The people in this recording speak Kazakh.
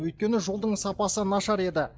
өйткені жолдың сапасы нашар еді